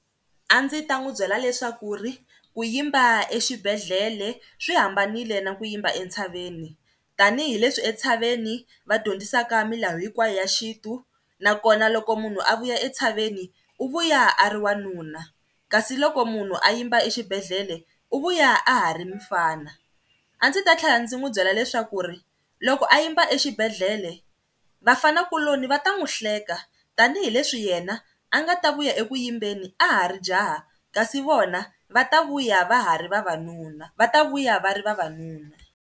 A ndzi ta n'wi byela leswaku ri ku yimba exibedhlele swi hambanile na ku yimba entshaveni tanihileswi entshaveni vadyondzisaka milawu hinkwayo ya xintu nakona loko munhu a vuya entshaveni u vuya a ri wanuna, kasi loko munhu a yimba exibedhlele u vuya a ha ri mufana. A ndzi ta tlhela ndzi n'wi byela leswaku ri loko a yimba exibedhlele vafana kuloni va ta n'wi hleka tanihileswi yena a nga ta vuya eku yimbeni a ha ri jaha kasi vona va ta vuya va ha ri vavanuna va ta vuya va ri vavanuna.